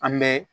An bɛ